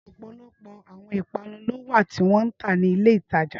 Ọpọlọpọ awọn ipanu lo wa ti wọn n ta ni ile itaja.